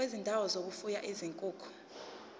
kwezindawo zokufuya izinkukhu